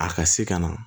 A ka se ka na